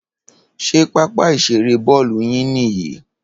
Ṣé pápá ìṣeré Bọ́ọ́lù yín nìyí